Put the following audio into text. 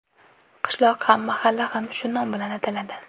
Qishloq ham, mahalla ham shu nom bilan ataladi.